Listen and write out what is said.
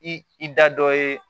I i da dɔ ye